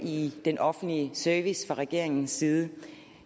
i den offentlige service fra regeringens side